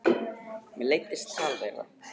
Mér leiddist það tal þeirra.